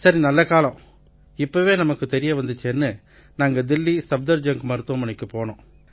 சரி நல்லகாலம் இப்பவே நமக்குத் தெரிய வந்திச்சேன்னு நாங்க தில்லி சஃப்தர்ஜங்க் மருத்துவமனைக்குப் போனோம்